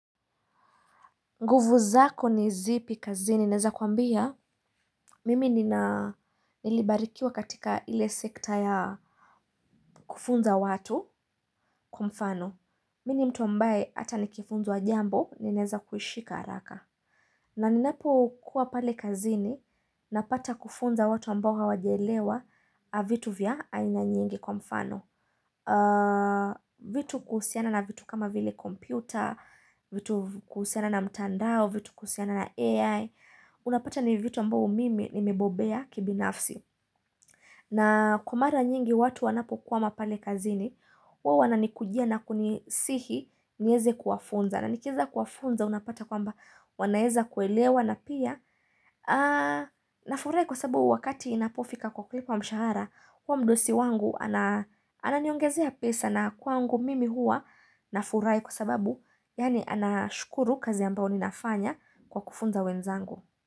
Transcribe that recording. Nguvu zako ni zipi kazini naweza kuambia mimi nilibarikiwa katika ile sekta ya kufunza watu kwa mfano mimi ni mtu ambaye hata nikifunzwa jambo ninaweza kushika haraka na ninapo kuwa pale kazini napata kufunza watu ambao hawajaelewa vitu vya aina nyingi kwa mfano vitu kuhusiana na vitu kama vile kompyuta vitu kuhusiana na mtandao vitu kuhusiana na AI Unapata ni vitu ambao mimi nimibobea kibinafsi na kwa mara nyingi watu wanapokwama pale kazini huwa wananipigia na kunisihi niweze kuwafunza na nikiweza kuwafunza unapata kwamba wanaweza kuelewa na pia Nafurahi kwa sababu wakati inapofika kwa kulipwa mshahara wa mdosi wangu ananiongezea pesa na kwangu mimi hua nafurahi kwa sababu yani anashukuru kazi ambao ninafanya kwa kufunza wenzangu.